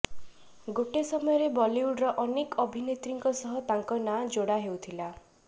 ଗୋଟେ ସମୟରେ ବଲିଉଡର ଅନେକ ଅଭିନେତ୍ରୀଙ୍କ ସହ ତାଙ୍କ ନାଁ ଯୋଡା ଯାଉଥିଲା